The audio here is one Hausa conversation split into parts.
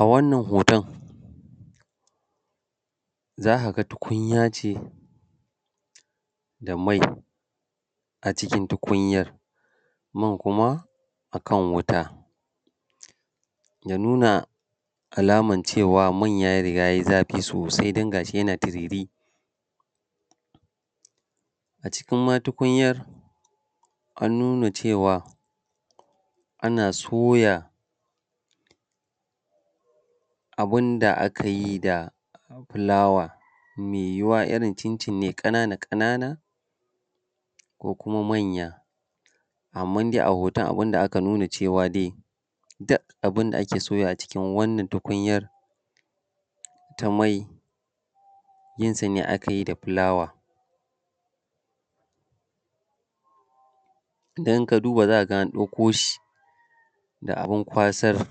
A wannan hoton za ka ga tukunya ce da mai, a cikin tukunyar man kuma akan wuta, ya nuna alaman cewa man ya riga yai zafi sosai don gashi yana tiriri. A cikin ma tukunyan an nuna cewa ana soya abun da aka yi da fulawa maiwuwa irin cincin ne ƙanana ƙanana ko kuma manya, amman dai a hoton wanda aka nuna cewa dai duk abun da ake so yawa a cikin wannan tukunyan ta mai yin sa ne aka yi da fulawa. Idan ka duba za ka ga an kwaso shi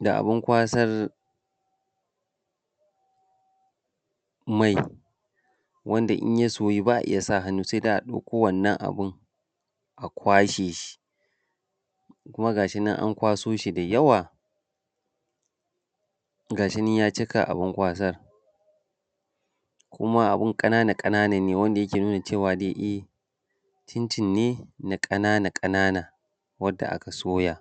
da abun kwasar mai wanda in ya soyu ba a iya sa hannu sai dai a ɗauko wannan abun a kwashe shi kuma gashi nan an kwaso shi da yawa, gashi nan ya cika abun kwasan kuma abun ƙanana ƙanana ne wanda yake nuna cewa e cincin ne na ƙanana ƙanana wanda aka soya.